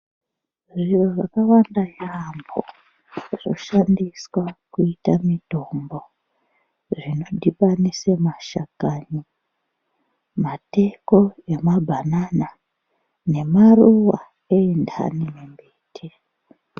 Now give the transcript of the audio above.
Zviro zvakawanda zvampho zvoshandiswa kuita mitombo zvinodhibaniswa mashakani mateko emabhanana nemaruwa entani mimbiti.